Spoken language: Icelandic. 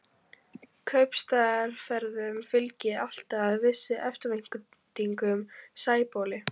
Kaupstaðarferðum fylgdi alltaf viss eftirvænting í Sæbóli.